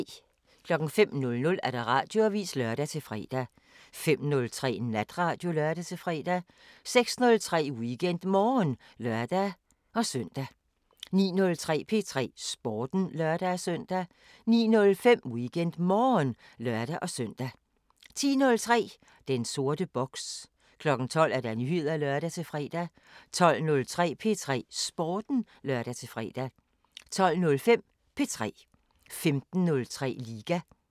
05:00: Radioavisen (lør-fre) 05:03: Natradio (lør-fre) 06:03: WeekendMorgen (lør-søn) 09:03: P3 Sporten (lør-søn) 09:05: WeekendMorgen (lør-søn) 10:03: Den sorte boks 12:00: Nyheder (lør-fre) 12:03: P3 Sporten (lør-fre) 12:05: P3 15:03: Liga